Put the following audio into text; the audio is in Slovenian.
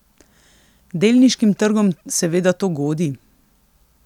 Delniškim trgom seveda to godi.